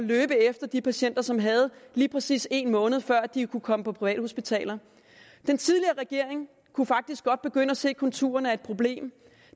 løbe efter de patienter som havde lige præcis en måned før de kunne komme på privathospitaler den tidligere regering kunne faktisk godt begynde at se konturerne af et problem